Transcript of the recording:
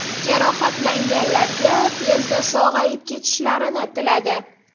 Jarohatlanganlarga tezda sog‘ayib ketishlarini tiladi.